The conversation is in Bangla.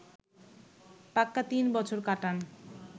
পাক্কা তিন বছর কাটান